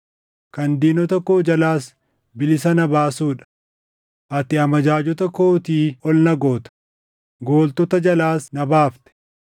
kan diinota koo jalaas bilisa na baasuu dha. Ati amajaajota kootii ol na goota; gooltota jalaas na baafte.